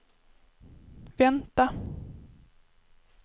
vänta